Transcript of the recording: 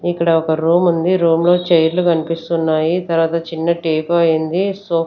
ఇక్కడ ఒక రూముంది రూమ్లో చైర్లు కన్పిస్తున్నాయి తర్వాత చిన్న టీ పాయ్ ఉంది సో--